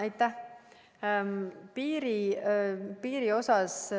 Aitäh!